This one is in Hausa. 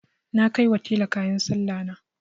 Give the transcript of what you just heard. Na kai wa tela kayan Sallahna.